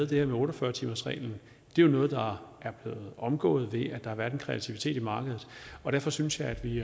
det her med otte og fyrre timersreglen jo er noget der er blevet omgået ved at der har været en kreativitet i markedet derfor synes jeg at vi